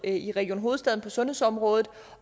i region hovedstaden på sundhedsområdet